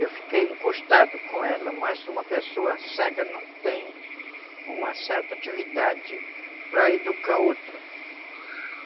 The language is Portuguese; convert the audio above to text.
Eu fiquei encostado com ela, mas uma pessoa cega não tem uma certa atividade para educar outro.